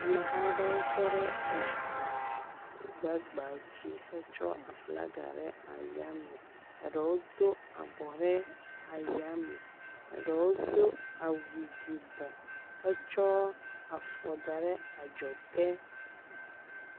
Ameha aɖewo tɔ ɖe eŋu gbagba dzi xe tsɔ aflaga ɖe ayame, eɖewo do abɔ ɖe ɖe eyame eɖewo do awu yibɔ hetsɔ afɔ da ɖe adzɔge.